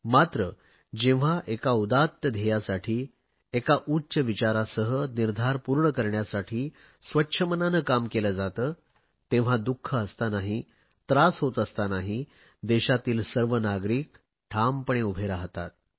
मात्र जेव्हा एका उदात्त ध्येयासाठी एका उच्च विचारासह निर्धार पूर्ण करण्यासाठी स्वच्छ मनाने काम केले जाते तेव्हा दुख असतानाही त्रास होत असतानाही देशातील सर्व नागरिक ठामपणे उभे राहतात